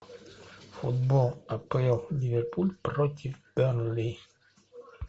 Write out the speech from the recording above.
футбол апл ливерпуль против бернли